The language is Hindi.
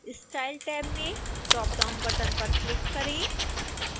style टैब में ड्राप डाउन बटन पर क्लिक करें